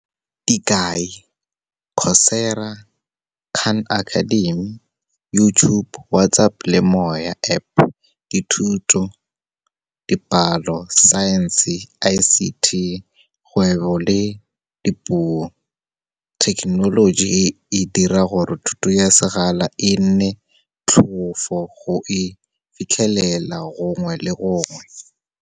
Dikai, Coursera, Khan Academy, YouTube, WhatsApp le MoyaApp, dithuto, dipalo, science-e, I_C_T, kgwebo le dipuo. Thekenoloji e dira gore thuto ya sekgala e nne motlhofo go e fitlhelela gongwe le gongwe.